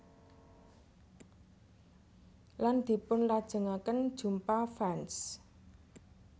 Lan dipunlajengaken jumpa fans